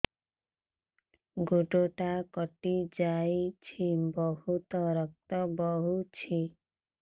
ଗୋଡ଼ଟା କଟି ଯାଇଛି ବହୁତ ରକ୍ତ ବହୁଛି